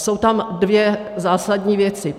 Jsou tam dvě zásadní věci.